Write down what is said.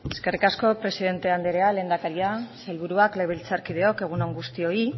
eskerrik asko presidente andrea lehendakaria sailburuak legebiltzarkideok egun on guztioi